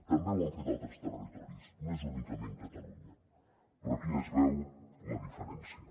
també ho han fet altres territoris no és únicament catalunya però aquí ja es veu la diferència